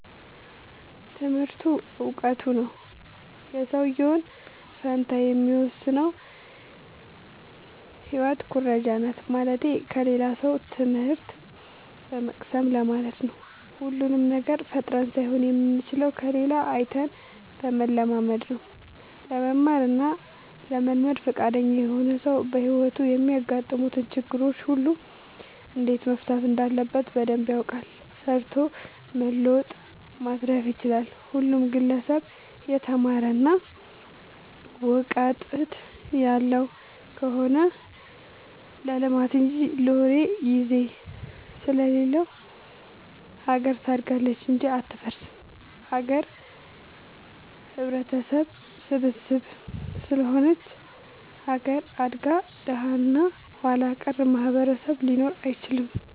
ትምህርቱ እውቀቱ ነው። የሰውዬውን ጣፈንታ የሚወስነው ህይወት ኩረጃናት ማለትቴ ከሌላ ሰው ትምህት በመቅሰም ለማለት ነው። ሁሉንም ነገር ፈጥረን ሳይሆን የምንችለው ከሌላ አይተን በመለማመድ ነው። ለመማር እና ለመልመድ ፍቃደኛ የሆነ ሰው በህይወቱ የሚያጋጥሙትን ችግሮች ሁሉ እንዴት መፍታት እንዳለበት በደንብ ያውቃል ሰርቶ መለወጥ ማትረፍ ይችላል። ሁሉም ግለሰብ የተማረ እና ውቀጥት ያለው ከሆነ ለልማት እንጂ ለወሬ ግዜ ስለሌለው ሀገር ታድጋለች እንጂ አትፈርስም። ሀገር ህብረተሰብ ስብስብ ስለሆነች ሀገር አድጋ ደሀ እና ኋላቀር ማህበረሰብ ሊኖር አይችልም።